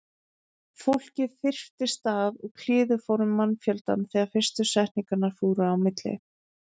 Fólkið þyrptist að og kliður fór um mannfjöldann þegar fyrstu setningarnar fóru á milli.